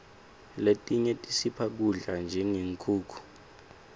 letinye tisipha kudla njengenkhukhu